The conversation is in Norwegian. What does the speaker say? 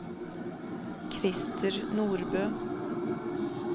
Christer Nordbø